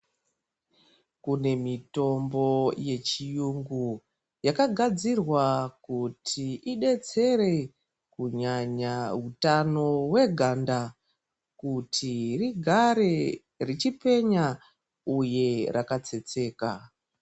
Kune mitombo yechiyungu yakagadzirwa kuti idetsere kunyanya utano hweganda kuti rigare richipenya uye rakatsetseka .